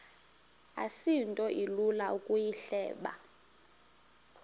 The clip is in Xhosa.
asinto ilula ukuyihleba